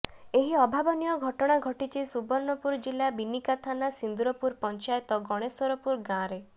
ଏହି ଅଭାବନୀୟ ଘଟଣା ଘଟିଛି ସୁବର୍ଣ୍ଣପୁର ଜିଲ୍ଲା ବିନିକା ଥାନା ସିନ୍ଦୁରପୁର ପଞ୍ଚାୟତ ଗଣେଶ୍ବରପୁର ଗାଁରେ